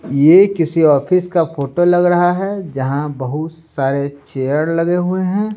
यह किसी ऑफिस का फोटो लग रहा है जहां बहुत सारे चेयर लगे हुए है।